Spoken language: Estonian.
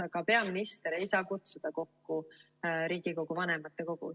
Aga peaminister ei saa kutsuda kokku Riigikogu vanematekogu.